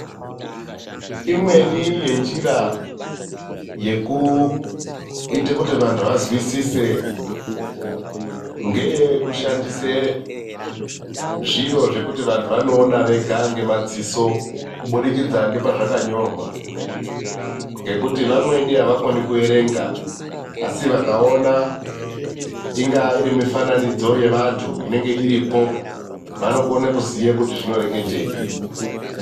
Imweni yenjira yekuite kuti vanthu vazwisise, ngeyekushandise zviro zvekuti vanthu vanoona vega ngemadziso. Kubudikidza ngepazvakanyorwa, ngekuti vamweni avakoni kuerenga. Asi vakaona ,ingava iri mifananidzo yevanthu inenge iripo, vanokona kuziye kuti zvinoreketeyi.